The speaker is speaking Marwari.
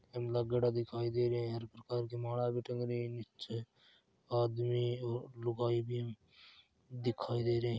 एम लागेड़ा दिखाई दे रहे है माला भी टंग रही है निचे आदमी और लुगाई भी दिखाई दे रहे है।